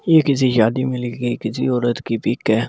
ये किसी शादी मिलेगी किसी औरत की पीक है।